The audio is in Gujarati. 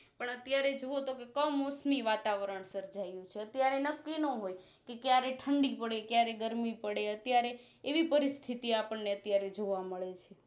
પણ અત્યારે જોવો તો કમોસમી વાતાવરણ સર્જાયું છે અત્યારે નકી ન્હોય ક્યારે ઠંડી પડે ક્યારે ગરમી પડે અત્યારે એવી પરિસ્થિતિઆપણને અત્યારે જોવા મળે છે